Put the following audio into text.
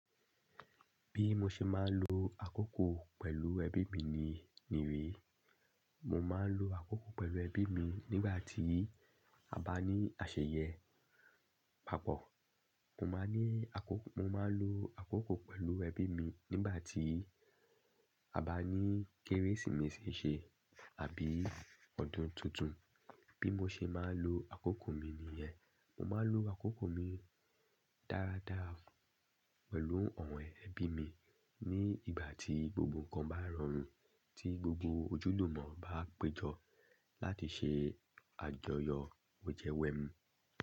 Bí mo ṣe máa ń lo àkókò pẹ̀lú ẹbí mi ni, ni wí, mo máa ń lo àkókò pẹ̀lú ẹbí mi nígbà tí a bá ní àṣeyẹ pàpọ̀. Mo máa ní àkókò, mo máa ń lo àkókò pẹ̀lú ẹbí mi nígbà tí a bá ní Kérésìmesì ṣe àbí ọdún tuntun. Bí mo ṣe máa ń lo àkókò mi nìyẹn. Mo máa ń lo àkókò mi dáradára pẹ̀lú àwọn ẹbí mi ní ìgbà tí gbogbo nǹkan bá rọrùn, tí gbogbo ojúlùmọ̀ bá péjọ láti ṣe àjọyọ̀ wejẹ wẹmu.